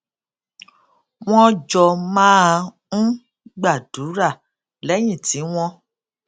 wón jọ máa ń gbàdúrà léyìn tí wón